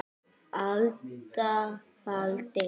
alda faldi